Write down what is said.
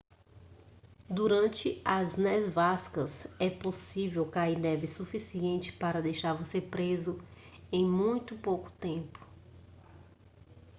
durante as nevascas é possível cair neve suficiente para deixar você preso em muito pouco tempo